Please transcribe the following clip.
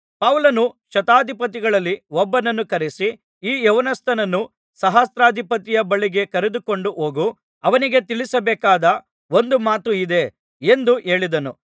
ಪೌಲನು ಶತಾಧಿಪತಿಗಳಲ್ಲಿ ಒಬ್ಬನನ್ನು ಕರೆಯಿಸಿ ಈ ಯೌವನಸ್ಥನನ್ನು ಸಹಸ್ರಾಧಿಪತಿಯ ಬಳಿಗೆ ಕರೆದುಕೊಂಡು ಹೋಗು ಅವನಿಗೆ ತಿಳಿಸಬೇಕಾದ ಒಂದು ಮಾತು ಇದೆ ಎಂದು ಹೇಳಿದನು